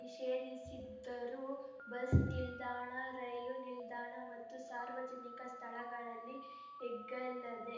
ನಿಷೇಧಿಸಿದ್ದರೂ bus ನಿಲ್ದಾಣ ರೈಲು ನಿಲ್ದಾಣ ಮತ್ತು ಸಾರ್ವಜನಿಕ ಸ್ಥಳಗಲ್ಲಿ ಎಗ್ಗಲ್ಲದೆ